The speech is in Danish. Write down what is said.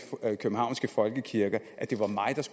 københavnske folkekirker